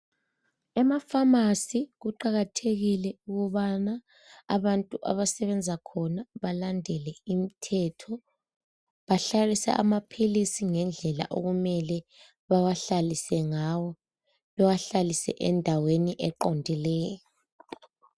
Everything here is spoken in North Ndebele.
Emaphamacy kuqakathekile ukubana abantu abasebenza khona belandele imithetho behlalise amapills ngendlela okumele bewahlalise ngayo bewahlalise endaweni eqondileyo